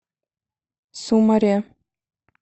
сумаре